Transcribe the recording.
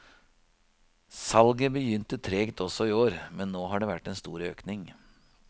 Salget begynte tregt også i år, men nå har det vært en stor økning.